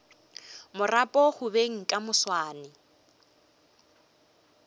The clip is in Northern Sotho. marapo go beng ka moswane